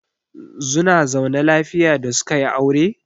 Zuna zaune lafiya da suka yi aure?